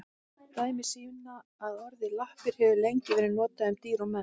Dæmi sýna að orðið lappir hefur lengi verið notað um dýr og menn.